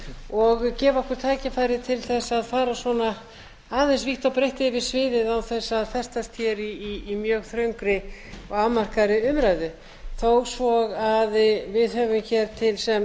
og gefa okkur tækifæri til að fara aðeins vítt og breitt yfir sviðið án þess að þessa sjái í mjög þröngri og afmarkaðri umræðu þó svo við höfum hér sem